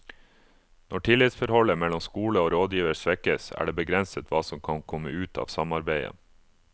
Når tillitsforholdet mellom skole og rådgiver svekkes, er det begrenset hva som kan komme ut av samarbeidet.